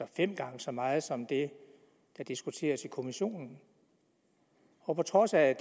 fem gange så meget som det der diskuteres i kommissionen og på trods af